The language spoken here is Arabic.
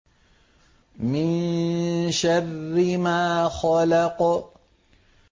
مِن شَرِّ مَا خَلَقَ